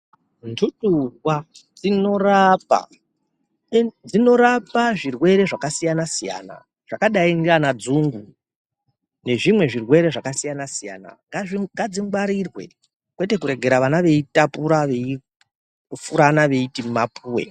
Ndudurwa dzinorapa, dzinorapa zvirwere zvakasiyana-siyana zvakadai ngeanadzungu nezvimwe zvirwere zvakasiyana-siyana. Ngadzingwarirwe, kwete kuregera vana veitapura, veifurana veiti mapuwe.